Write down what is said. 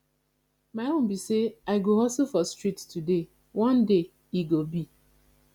my own be say i go hustle for street today one day e go be